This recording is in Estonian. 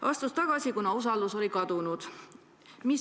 Ta astus tagasi, kuna usaldus oli kadunud.